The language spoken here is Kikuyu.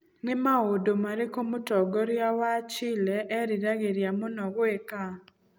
Nĩ maũndũ marĩkũ Mũtongoria wa Chile eriragĩria mũno gwĩka?